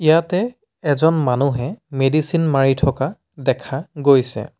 ইয়াতে এজন মানুহে মেডিচিন মাৰি থকা দেখা গৈছে।